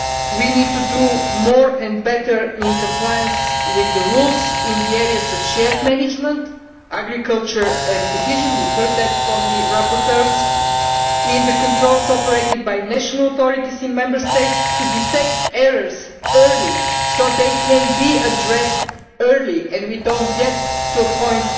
We need to do more and better in compliance with the rules in the areas of shared management, agriculture and cohesion we heard that from the rapporteurs in the controls operated by national authorities in Member States to detect errors early so that they can be addressed early, and we do not get to the point